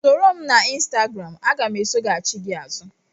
Ị soro m na Ịnstagram, aga m esoghachị gị azụ